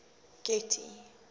getty